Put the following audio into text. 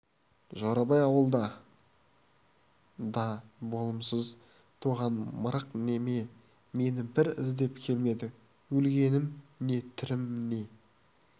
жорабай ауылда де болымсыз туған мырық неме мені бір іздеп келмеді өлгенім не тірім не